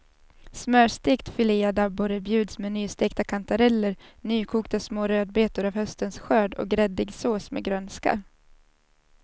Smörstekt filead abborre bjuds med nystekta kantareller, nykokta små rödbetor av höstens skörd och gräddig sås med grönska.